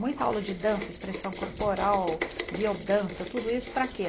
Muita aula de dança, expressão corporal, biodança, tudo isso para quê?